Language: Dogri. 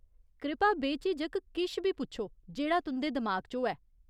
कृपा बेझिझक किश बी पुच्छो जेह्ड़ा तुं'दे दिमाग च होऐ।